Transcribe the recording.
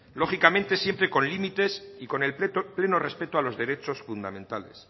lógicamente siempre con límites y con el pleno respeto a los derechos fundamentales